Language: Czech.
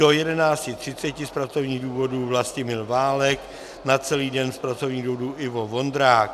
Do 11.30 z pracovních důvodů Vlastimil Válek, na celý den z pracovních důvodů Ivo Vondrák.